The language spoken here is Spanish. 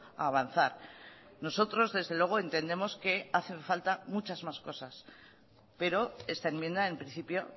a avanzar nosotros desde luego entendemos que hace falta muchas más cosas pero esta enmienda en principio